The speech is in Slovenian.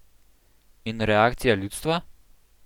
In reakcija ljudstva?